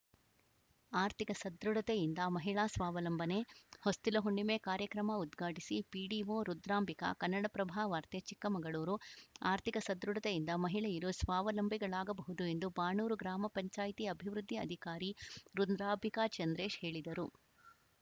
ಆರ್ಥಿಕ ಸದೃಢತೆಯಿಂದ ಮಹಿಳಾ ಸ್ವಾವಲಂಬನೆ ಹೊಸ್ತಿಲ ಹುಣ್ಣಿಮೆ ಕಾರ್ಯಕ್ರಮ ಉದ್ಘಾಟಿಸಿ ಪಿಡಿಒ ರುದ್ರಾಂಬಿಕಾ ಕನ್ನಡಪ್ರಭ ವಾರ್ತೆ ಚಿಕ್ಕಮಗಳೂರು ಆರ್ಥಿಕ ಸದೃಢತೆಯಿಂದ ಮಹಿಳೆಯರು ಸ್ವಾವಲಂಬಿಗಳಾಗಬಹುದು ಎಂದು ಬಾಣೂರು ಗ್ರಾಮ ಪಂಚಾಯಿತಿ ಅಭಿವೃದ್ಧಿ ಅಧಿಕಾರಿ ರುದ್ರಾಂಬಿಕಾ ಚಂದ್ರೇಶ್‌ ಹೇಳಿದರು